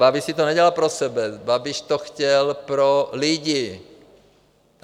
Babiš si to nedělal pro sebe, Babiš to chtěl pro lidi.